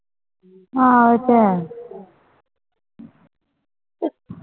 ਹਾਂ ਇਹ ਤਾ ਹੈ